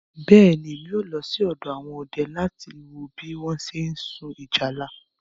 Bẹ́ẹ̀ ni, mà á lọ sí ọ̀dọ̀ àwọn ọdẹ láti wo bí wọ́n ṣe ń sun ìjálá.